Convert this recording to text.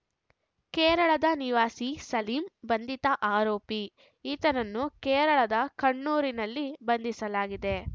ಕೇರಳದ ನಿವಾಸಿ ಸಲೀಂ ಬಂಧಿತ ಆರೋಪಿ ಈತನನ್ನು ಕೇರಳದ ಕಣ್ಣನೂರಿನಲ್ಲಿ ಬಂಧಿಸಲಾಗಿದೆ